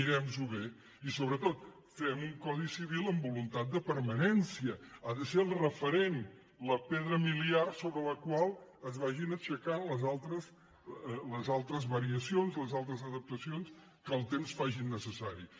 mirem nos ho bé i sobretot fem un codi civil amb voluntat de permanència ha de ser el referent la pedra miliar sobre la qual es vagin aixecant les altres variacions les altres adaptacions que el temps faci necessàries